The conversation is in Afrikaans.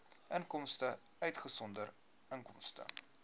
inkomste uitgesonderd inkomste